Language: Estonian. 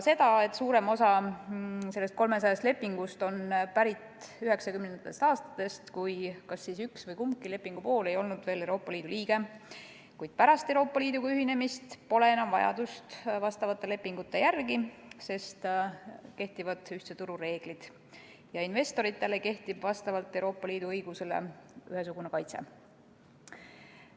Suurem osa nendest 300 lepingust on pärit 1990. aastatest, kui kas üks või kumbki lepingupool ei olnud veel Euroopa Liidu liige, kuid pärast Euroopa Liiduga ühinemist pole vastavate lepingute järele enam vajadust, sest kehtivad ühtse turu reeglid ja investoritel kehtib Euroopa Liidu õiguse kohaselt ühesugune kaitse.